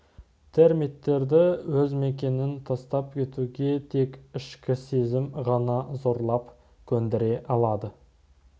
термиттерді өз мекенін тастап кетуге тек ішкі сезім ғана зорлап көндіре алады